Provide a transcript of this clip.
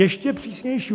Ještě přísnější.